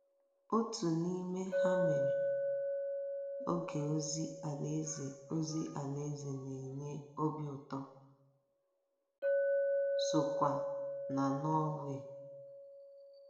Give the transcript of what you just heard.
Otu n'ime ha mere, oge ozi Alaeze ozi Alaeze na-enye obi ụtọ sokwa na Norway.